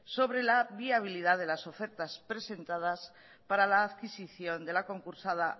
sobre la viabilidad de las ofertas presentadas para la adquisición de la concursada